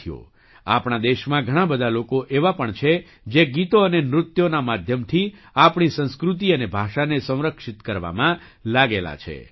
સાથીઓ આપણા દેશમાં ઘણા બધા લોકો એવા પણ છે જે ગીતો અને નૃત્યોના માધ્યમથી આપણી સંસ્કૃતિ અને ભાષાને સંરક્ષિત કરવામાં લાગેલા છે